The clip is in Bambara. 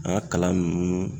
An ka kalan nunnu